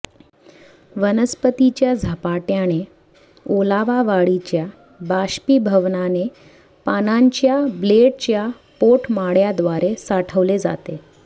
वनस्पतीच्या झपाट्याने ओलावा वाढीच्या बाष्पीभवनाने पानांच्या ब्लेडच्या पोटमाळ्याद्वारे साठवले जाते